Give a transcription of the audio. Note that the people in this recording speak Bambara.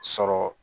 Sɔrɔ